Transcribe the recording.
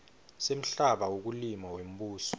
semhlaba wekulima wembuso